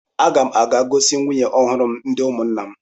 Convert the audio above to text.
Aga m a ga-gosi nwunye m ọhụrụ ndị ụmụnna.